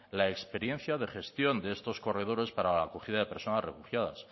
la experiencia de gestión de estos corredores para la acogida de personas refugiadas